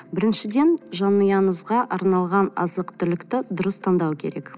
біріншіден жанұянызға арналған азық түлікті дұрыс таңдау керек